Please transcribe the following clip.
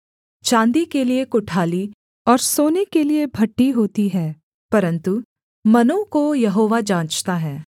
चाँदी के लिये कुठाली और सोने के लिये भट्ठी होती है परन्तु मनों को यहोवा जाँचता है